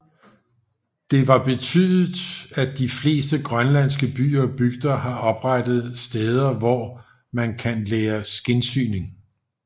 Det var betydet at de fleste grønlandske byer og bygder har oprettet steder hvor man kan lære skindsyning